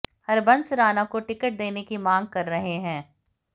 हरबंस राणा को टिकट देने की मांग कर रहे हैं